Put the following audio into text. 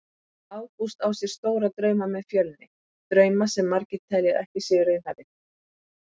Ágúst á sér stóra drauma með Fjölni, drauma sem margir telja að séu ekki raunhæfir.